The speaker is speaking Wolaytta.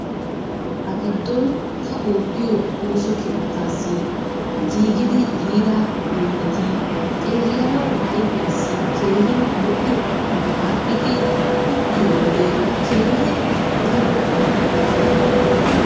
Ha giddon ta oottiyo ooso keettaassi giigidi yiida oyideti xeellanawu ayifiyassi keehin lo'iyogaappe aadhdhidi uttiyo wode keehin daro lo'oosona.